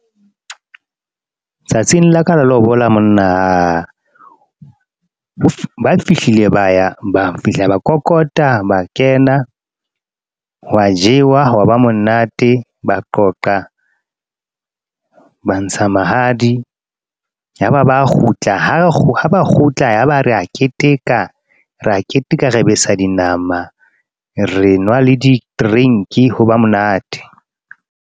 Tsatsing la ka la lobola, monna ba fihlile ba ya, ba fihla ba kokota, ba kena hwa jewa hwa ba monate ba qoqa, ba ntsha mahadi, ya ba ba kgutla ha ba kgutla. Ya ba re a keteka, re a keteka re besa dinama, re nwa le di-drink ho ba monate.